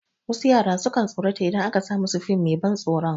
Wasu yara sukan tsorata idan aka sa masu fim mai ban tsoron